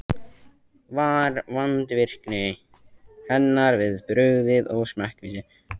Var vandvirkni hennar við brugðið og smekkvísi.